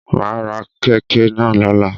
Ma á ra kèké náà lọ́la